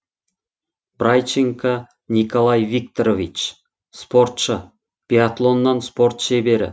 брайченко николай викторович спортшы биатлоннан спорт шебері